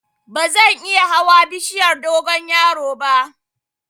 Bazan iya hawa bishiyar dogonyaro ba